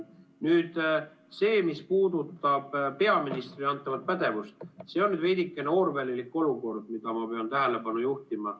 Nüüd see, mis puudutab peaministrile antavat pädevust, see on veidikene orwellilik olukord, millele ma pean tähelepanu juhtima.